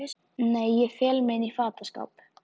Nei ég fel mig inní fataskáp.